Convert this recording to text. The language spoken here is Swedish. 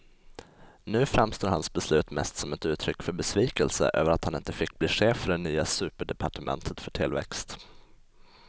Nu framstår hans beslut mest som uttryck för besvikelse över att han inte fick bli chef för det nya superdepartementet för tillväxt.